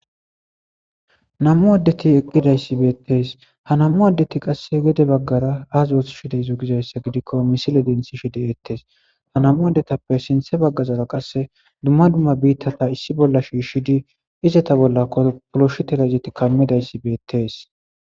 na7mu addeti eqidaysi beettees ha nam7u addeti qasse gede baggara aazoothushidayzo gizayssa gidikko misile dinthishi de7ettes ha namu adetappe sinthe baggazaro qasse dumma dumma biittata issi bolla shiishidi izeta bolla kopoloshi telazeti kammidayssi beettees